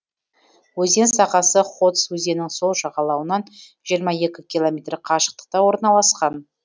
өзен сағасы ходзь өзеннің сол жағалауынан жиырма екі километр қашықтықта орналасқан